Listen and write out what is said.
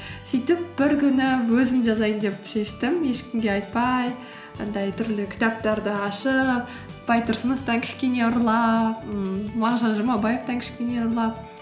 сөйтіп бір күні өзім жазайын деп шештім ешкімге айтпай андай түрлі кітаптарды ашып байтұрсыновтан кішкене ұрлап ммм мағжан жұмабаевтан кішкене ұрлап